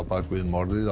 bak við morð